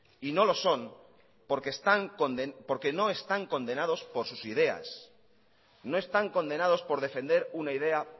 y no lo son porque no están condenados por sus ideas no están condenados por defender una idea